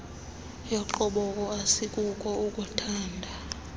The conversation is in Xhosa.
yogqobhoko asikuko ukuuthanda